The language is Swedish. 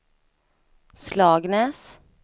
Slagnäs